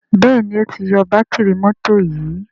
Béèni o tí yó Bátìrì mọ́tò yì.